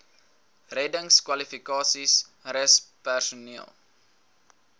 reddingskwalifikasies rus personeel